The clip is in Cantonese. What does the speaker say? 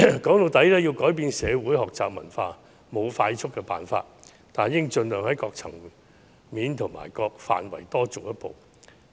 說到底，要改變社會學習文化就是沒有快速的方法，但大家應盡量在各層面和各範圍多做一步。